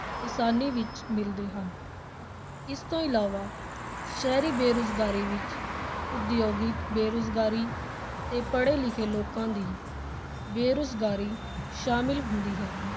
ਕਿਸਾਨੀ ਵਿਚ ਮਿਲਦੇ ਹਨ, ਇਸ ਤੋਂ ਇਲਾਵਾ ਸ਼ਹਿਰੀ ਬੇਰੁਜ਼ਗਾਰੀ ਵਿਚ ਉਦਯੋਗਿਕ ਬੇਰੁਜ਼ਗਾਰੀ ਤੇ ਪੜ੍ਹੇ-ਲਿਖੇ ਲੋਕਾਂ ਦੀ ਬੇਰੁਜ਼ਗਾਰੀ ਸ਼ਾਮਿਲ ਹੁੰਦੀ ਹੈ।